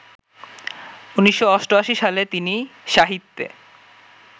১৯৮৮ সালে তিনি সাহিত্যে